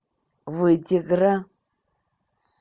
вытегра